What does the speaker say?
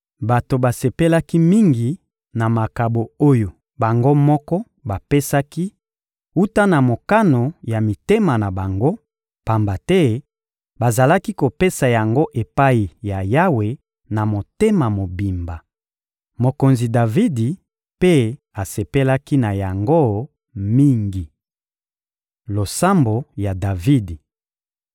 Bato basepelaki mingi na makabo oyo bango moko bapesaki wuta na mokano ya mitema na bango, pamba te bazalaki kopesa yango epai ya Yawe, na motema mobimba. Mokonzi Davidi mpe asepelaki na yango mingi. Losambo ya Davidi